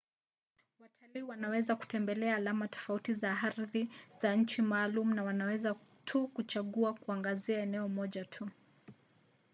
watalii wanaweza kutembelea alama tofauti za ardhi za nchi maalum au wanaweza tu kuchagua kuangazia eneo moja tu